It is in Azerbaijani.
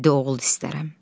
Yeddi oğul istərəm.